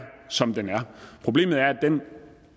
som den er problemet er at den